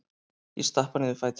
Ég stappa niður fætinum.